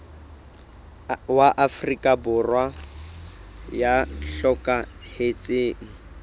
wa afrika borwa ya hlokahetseng